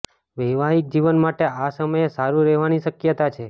વૈવાહિક જીવન માટે આ સમયે સારું રહેવાની શક્યતા છે